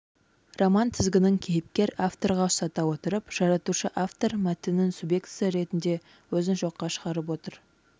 роман тізгінін кейіпкер-авторға ұстата отырып жаратушы-автор мәтіннің субъектісі ретінде өзін жоққа шығарып отыр